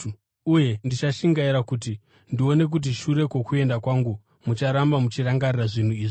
Uye ndichashingaira kuti ndione kuti shure kwokuenda kwangu mucharamba muchirangarira zvinhu izvi.